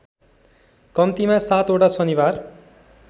कम्तिमा सातवटा शनिबार